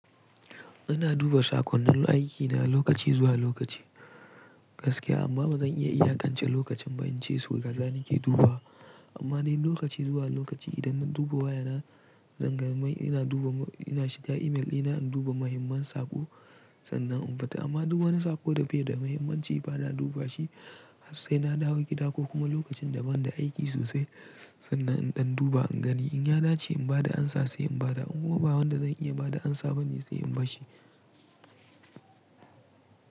Ina duba sakonnin aiki na lokaci zuwa lokaci gaskiya amma ba zan iya iyakance lokacin ba in ce sau kaza ni ke dubawa. Amma dai lokaci zuwa lokaci idan na duba wayana, zan ga mai ina duba, ina shiga email dina induba muhimman saƙo sannan in fita. Amma duk wani saƙo da baida da muhimmanci ba na duba shi har sai na dawo gida ko kuma lokacin da ban da aiki sosai sannan in ɗan duba in gani in ya dace in ba da amsa sai in ba da in kuma ba wanda zan iya ba da amsa bane sai in basshi.